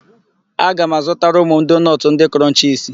Aga m azụtara ụmụ m doonọtụ ndị Krọnchisi.